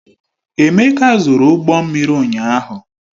Emeka zụrụ ụgbọ mmiri ụnyaahụ.